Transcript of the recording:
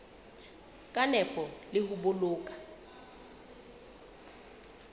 ka nepo le ho boloka